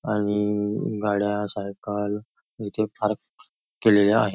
आणि गाड्या सायकल इथे पार्क केलेल्या आहे.